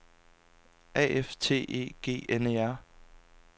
A F T E G N E R